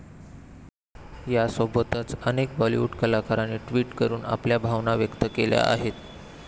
यासोबतच अनेक बॉलिवूड कलाकारांनी ट्विट करून आपल्या भावना व्यक्त केल्या आहेत.